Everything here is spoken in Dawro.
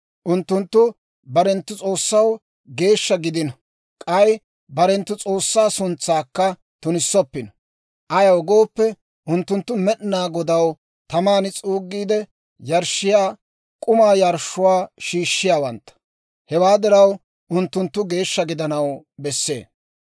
Unttunttu barenttu S'oossaw geeshsha gidino; k'ay barenttu S'oossaa suntsaakka tunissoppino. Ayaw gooppe unttunttu Med'inaa Godaw taman s'uugiide yarshshiyaa, k'umaa yarshshuwaa shiishshiyaawantta; hewaa diraw, unttunttu geeshsha gidanaw bessee.